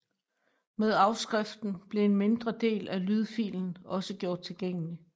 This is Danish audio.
Med afskriften blev en mindre del af lydfilen også gjort tilgængelig